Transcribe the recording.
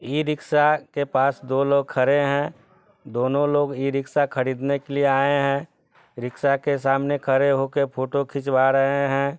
E rickshaw के पास दो लोग खड़े है| दोनों लोग ये रिक्शा खरीदने के लिए आए है रिक्शा के सामने खड़े होके फोटो खिंचवा रहे है।